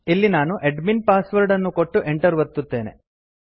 ಇಲ್ಲಿ ನಾನು admin password ಅನ್ನು ಕೊಟ್ಟು enter ಒತ್ತುತ್ತೇನೆ